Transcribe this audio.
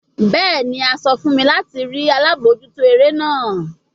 Bẹẹni, a sọ fun mi lati rii alabojuto ere naa